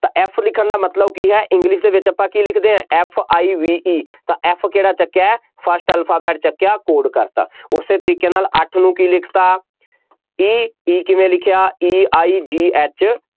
ਤਾਂ F ਲਿਖਣ ਦਾ ਮਤਲਬ ਕੀ ਹੈ english ਦੇ ਵਿੱਚ ਆਪਾਂ ਕੀ ਲਿਖਦੇ ਹਾਂ F I V E ਤਾਂ F ਕਿਹੜਾ ਚੁੱਕਿਆ first alphabet ਚੁੱਕਿਆ, code ਕਰ ਦਿੱਤਾ, ਉਸਨੇ ਤਰੀਕੇ ਨਾਲ ਅੱਠ ਨੂੰ ਕੀ ਲਿਖ ਦਿੱਤਾ, E E ਕਿਵੇਂ ਲਿਖਿਆ E I G H